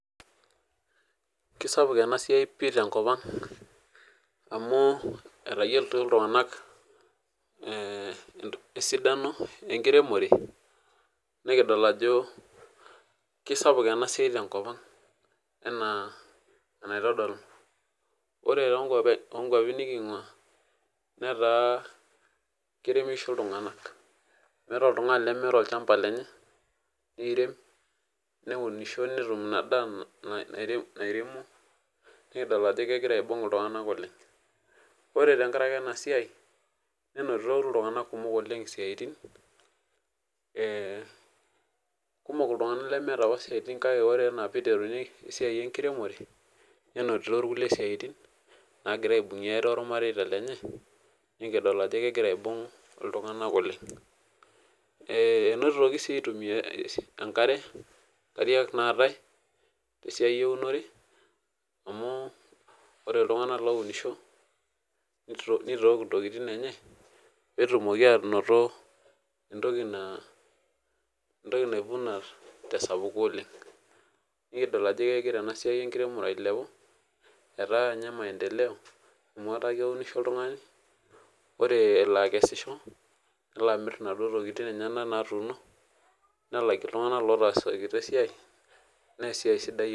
Kisapuk enasia pii tenkop aang amu etayioloto ltunganak esidano enkiremore nikidol ajo kesapuk enasiai tenkop aanga ana enaitodolu ore tonkwapi nikingua na keremisho ltunganak meeta oltungani lemeeta olchamba lenye nirem neunisho netum inadaa nairemo, ore tenkaraki enasia nenoto ltunganak kumok siatin ,kumok ltunganak lemeeta apa siatin kake ore piteruni esiai enkiremore nenoto irkulie siatin naretiebninye ornarei lenye nikidol ajo kegira aibung ltunganak oleng enotomi si aitumia enkare naatae tesiae eunore amu ore ltunganak ounisho nitook ntokitin enye petumoki ainoto entoki naivuna , kidolta ajo egira esiai enkiremore ailepu etaa kenya maendeleo amubore eleo akesisho nelo amir naduo tokitin enyenak nelakie ltunganak otaasikita esiaia.